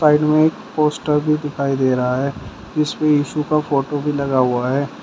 Poster भी दिखाई दे रहा है इसमें यीशु का फोटो भी लगा हुआ है।